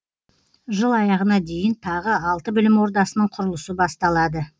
жыл аяғына дейін тағы алты білім ордасының құрылысы басталады